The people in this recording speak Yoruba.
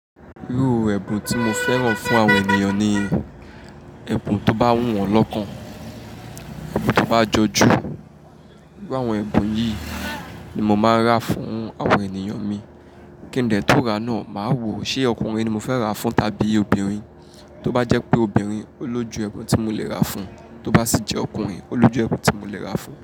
Irú ẹbun tí mo fẹ́ran fún àwọn ènìyàn ni ẹbun tó bá wù wọ́n lọ́kàn, ẹbun tó bá jọju, irú àwọn ẹbun yìí ni mo máa ra fún àwọn ènìyàn mi. Kín de tó ra náà, máa wo ṣe ọkùnrin ni mo fẹ́ ra fún tàbí obìnrin. Tó bá jẹ́ pé obìnrin, ó lójú ẹbun tí mo lè ra fún un, tó bá sì jẹ́ ọkùnrin, ó lójú ẹbun tí mo lè ra fún un.